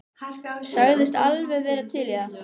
Sagðist alveg vera til í það.